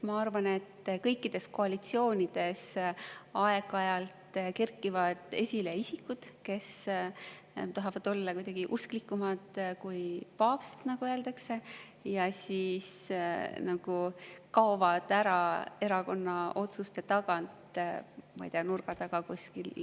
Ma arvan, et kõikides koalitsioonides aeg-ajalt kerkivad esile isikud, kes tahavad olla kuidagi usklikumad kui paavst ise, nagu öeldakse, ja siis kaovad ära erakonna otsuste tagant, ma ei tea, kuskil nurga taga.